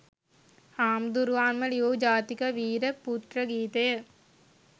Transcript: හාමුදුරුවන්ම ලියූ ජාතික වීර පුත්‍ර ගීතය